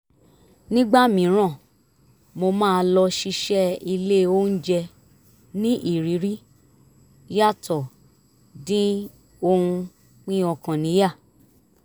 nígbà mìíràn mo máa lọ ṣiṣẹ́ ilé oúnjẹ ní ìrírí yàtọ̀ dín ohun pín ọkàn níyà